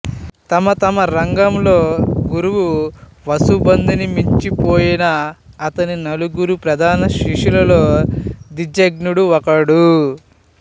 తమ తమ రంగంలో గురువు వసుబందుని మించిపోయిన అతని నలుగురు ప్రధాన శిష్యులలో దిజ్నాగుడు ఒకడు